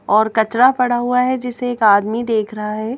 और कचरा पड़ा हुआ है जिसे एक आदमी देख रहा है।